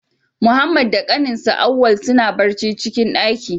Muhammad da ƙaninsa, Auwal suna barci a'cikin daƙin.